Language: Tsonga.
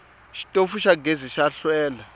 xitofu xa gezi xa hlwela